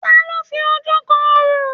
Ta ló fi ojú kan orò?